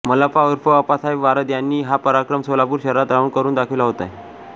मल्लप्पा ऊर्फ आप्पासाहेब वारद यांनी हा पराक्रम सोलापूर शहरात राहून करून दाखविला आहे